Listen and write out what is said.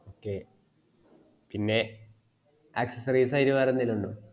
okay പിന്നെ accessories ആയിട്ട് വേറെ എന്തേലും ഇണ്ടോ